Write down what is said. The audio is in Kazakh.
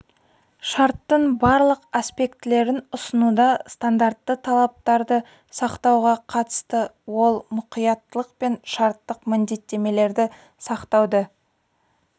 шарттың барлық аспектілерін ұсынуда стандартты талаптарды сақтауға қатысты ол мұқияттылық пен шарттық міндеттемелерді сақтауды